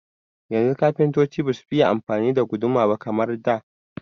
Yanzu kafintoci basu fiye amfani da guduma ba kamar da.